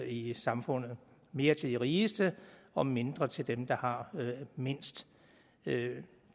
i samfundet mere til de rigeste og mindre til dem der har mindst det